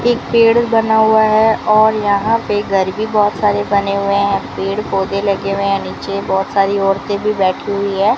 एक पेड़ बना हुआ है और यहां पे घर भी बहोत सारे बने हुए हैं पेड़ पौधे लगे हुए नीचे बहुत सारी औरतें भी बैठी हुई है।